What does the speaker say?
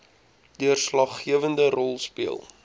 deurslaggewende rol speel